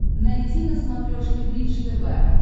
найти на смотрешке бридж тв